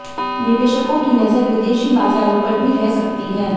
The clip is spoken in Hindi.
निवेशकों की नजर विदेशी बाजारों पर भी रह सकती है